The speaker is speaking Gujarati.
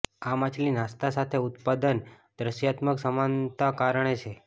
આ માછલી નાસ્તા સાથે ઉત્પાદન દૃશ્યાત્મક સમાનતા કારણે છે